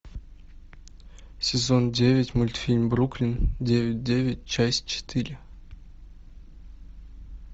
сезон девять мультфильм бруклин девять девять часть четыре